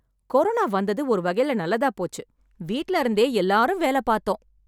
Corona வந்தது ஒரு வகையில நல்லதா போச்சு, வீட்ல இருந்தே எல்லாரும் வேல பாத்தோம்.